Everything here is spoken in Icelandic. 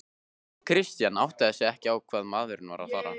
Christian áttaði sig ekki á hvað maðurinn var að fara.